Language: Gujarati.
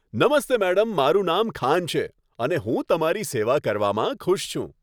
નમસ્તે મેડમ, મારું નામ ખાન છે અને હું તમારી સેવા કરવામાં ખુશ છું.